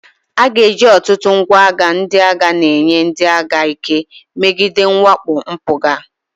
A ga-eji ọtụtụ ngwa agha ndị agha na-enye ndị agha ike megide mwakpo mpụga.